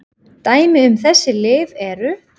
Dæmi um þessi lyf eru